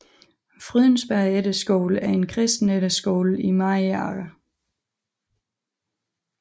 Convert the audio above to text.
Frydensberg Efterskole er en kristen efterskole i Mariager